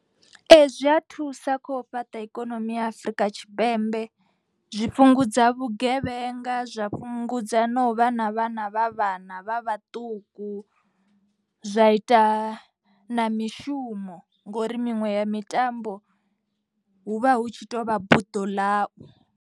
Ee zwi a thusa kho fhaṱa ikonomi ya Afurika Tshipembe. Zwi fhungudza vhugevhenga zwa fhungudza na u vhana vhana vha vhana vha vhaṱuku. Zwa ita na mishumo ngori miṅwe ya mitambo hu vha hu tshi tovha buḓo ḽau.